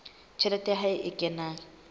tjhelete ya hae e kenang